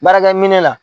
Baarakɛ minɛ la